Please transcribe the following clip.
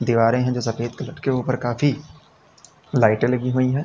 दीवारें हैं जो सफेद कलर के ऊपर काफी लाइटें लगी हुई है।